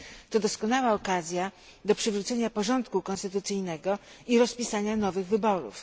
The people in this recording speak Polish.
To doskonała okazja do przywrócenia porządku konstytucyjnego i rozpisania nowych wyborów.